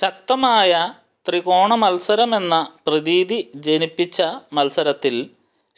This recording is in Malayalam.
ശക്തമായ ത്രികോണമൽസരമെന്ന പ്രതീതി ജനപ്പിച്ച മൽസരത്തിൽ